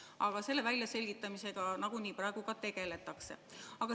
Aga selle väljaselgitamisega nagunii praegu tegeldakse.